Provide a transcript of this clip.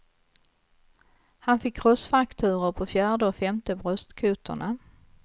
Han fick krossfrakturer på fjärde och femte bröstkotorna.